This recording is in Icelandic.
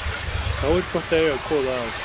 Þá er gott að eiga góða að.